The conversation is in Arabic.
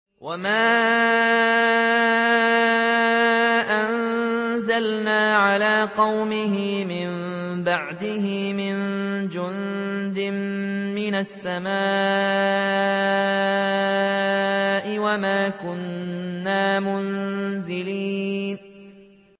۞ وَمَا أَنزَلْنَا عَلَىٰ قَوْمِهِ مِن بَعْدِهِ مِن جُندٍ مِّنَ السَّمَاءِ وَمَا كُنَّا مُنزِلِينَ